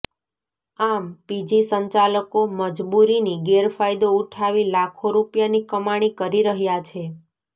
આમ પીજી સંચાલકો મજબૂરીની ગેરફાયદો ઉઠાવી લાખો રૂપિયાની કમાણી કરી રહ્યા છે